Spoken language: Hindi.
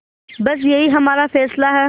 बस यही हमारा फैसला है